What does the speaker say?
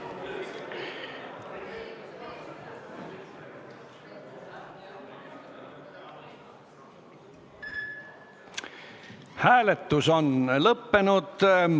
Hääletustulemused Hääletus on lõppenud.